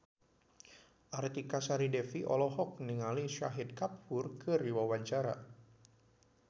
Artika Sari Devi olohok ningali Shahid Kapoor keur diwawancara